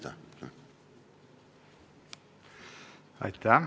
Aitäh!